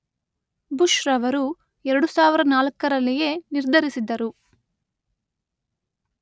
ಬುಷ್‌ರವರು ಎರಡು ಸಾವಿರದ ನಾಲ್ಕರಲ್ಲಿಯೇ ನಿರ್ಧರಿಸಿದ್ದರು.